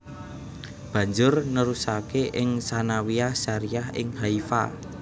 Banjur nerusake ing Tsanawiyah Syariah ing Haifa